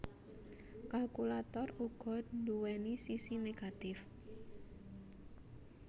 Kalkulator uga nduwèni sisi negatif